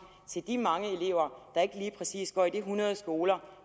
til de mange elever der ikke lige præcis går i de hundrede skoler